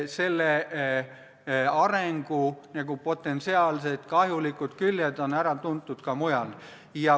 Selle arengu potentsiaalsed kahjulikud küljed on ära tuntud ka mujal.